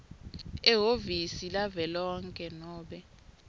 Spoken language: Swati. ehhovisi lavelonkhe nobe